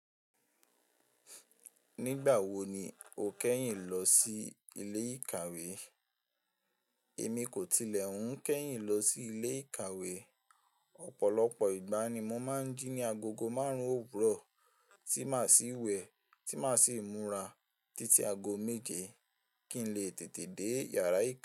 Nígbà wo ni o kẹ́yìn lọ sí ilé ìkàwé? Èmi kò tilẹ̀ un kẹ́yìn lọ sí ilé ìkàwé. Ọ̀pọ̀lọpọ̀ ìgbà ni mo máa ń jí ní agogo márùn-ún òwúrọ̀ tí màá sì wẹ̀, tí màá sì múra títí ago méje kí n lè tètè dé yàrá ìkà.